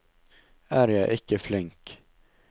Er jeg ikke flink?